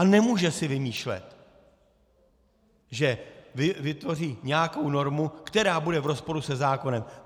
A nemůže si vymýšlet, že vytvoří nějakou normu, která bude v rozporu se zákonem.